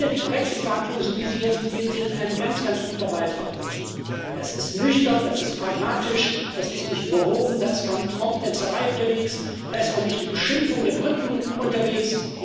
Die Brexit Verhandlungen, so wie sie jetzt beginnen, sind ein ganz, ganz guter Beitrag dazu. Das ist nüchtern, das ist pragmatisch, das ist nicht überhoben, da ist kaum Traumtänzerei unterwegs, da ist auch nicht die Beschimpfung der Briten unterwegs.